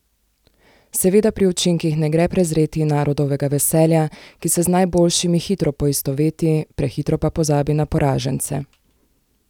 Seveda pri učinkih ne gre prezreti narodovega veselja, ki se z najboljšimi hitro poistoveti, prehitro pa pozabi na poražence.